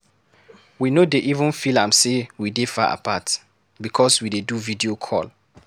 We no dey even feel am sey we dey far apart because we dey do video call.